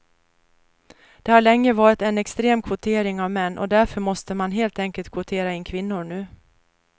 Det har länge varit en extrem kvotering av män och därför måste man helt enkelt kvotera in kvinnor nu.